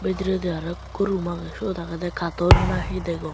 bidiredi aro ikko room aagey sod aagede carton nahi he degong.